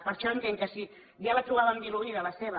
per això entenc que si ja la trobàvem diluïda la seva